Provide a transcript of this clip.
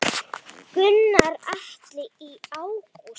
Gunnar Atli: Í ágúst?